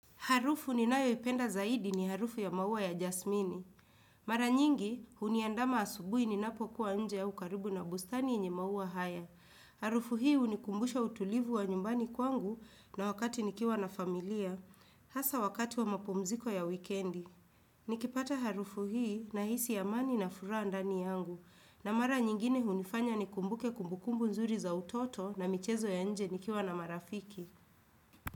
Harufu ninayoipenda zaidi ni harufu ya maua ya jasmini. Mara nyingi, uniandama asubuhi ni napokuwa nje ya ukaribu na bustani enye maua haya. Harufu hii unikumbusha utulivu wa nyumbani kwangu na wakati nikiwa na familia. Hasa wakati wa mapomziko ya wikendi. Nikipata harufu hii na hisi amani na furaha ndani yangu. Na mara nyingine unifanya ni kumbuke kumbukumbu nzuri za utoto na michezo ya nje nikiwa na marafiki.